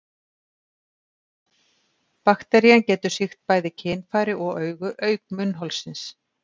Bakterían getur sýkt bæði kynfæri og augu, auk munnholsins.